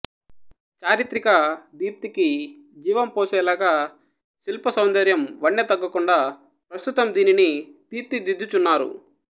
చారిత్రిక దీప్తికి జీవం పోసేలాగా శిల్పసౌందర్యం వన్నె తగ్గకుండా ప్రస్తుతం దీనిని తీర్చిదిద్దుచున్నారు